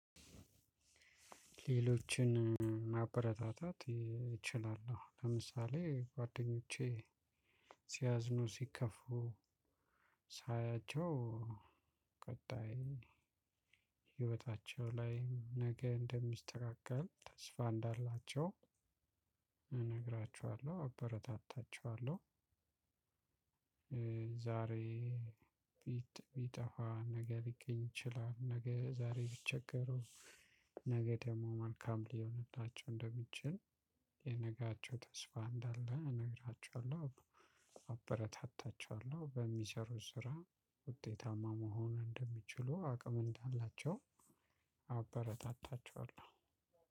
ሌሎችን ማበረታታት እችላለሁ ለምሳሌ ጓደኞቼ ሲያዝኑ ሲከፉ ሳያቸው ቀጣይ ሌሎችን ማበረታታት እችላለሁ ለምሳሌ ጓደኞቼ ሲያዝኑ ሲከፉ ሳያቸው ቀጣይ። ዛሬ ቢጠፋ ነገ ሊገኝ ይችላል። ነገ ዛሬ ቢቸገረም ነገ ደግሞ መልካም ሊሆንላቸው እንደሚችል ለነጌያቸው ተስፋ እንዳላቸው እነግራቸዋለሁ። አበረታታቸዋለሁ በሚሰሩት ስራ ውጠታማ መሆን እንደሚችሉ አቅም እንዳላቸው አበረታታቸዋለሁ።